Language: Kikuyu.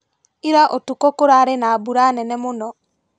Ira ũtukũ kũrarĩ na mbura nene mũno.